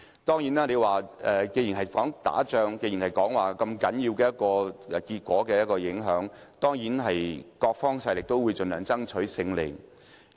既然我將選舉比喻為打仗，又說結果有如此大影響，各方勢力定會盡量爭取勝利。